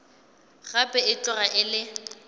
gape e tloga e le